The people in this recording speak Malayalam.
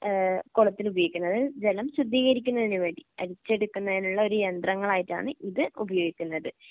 ഏഹ് കുളത്തില് ഉപയോഗിക്കുന്നത് അതായത് ജലം സ്വീകരിക്കുന്നതിന് വേണ്ടി അരിച്ചെടുക്കുന്നതിനുള്ള ഒരു യന്ത്രങ്ങളായിട്ടാണ് ഇത് ഉപയോഗിക്കുന്നത്.